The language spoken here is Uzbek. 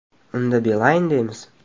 Unda Beeline” deymiz.